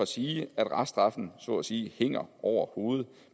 sige at reststraffen så at sige hænger over hovedet